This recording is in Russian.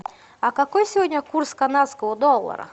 а какой сегодня курс канадского доллара